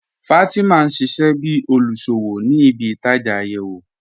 Fatima n ṣíṣẹ̀ bí olúṣọ́wọ̀ ní ìbí-ìtajá ayéwo.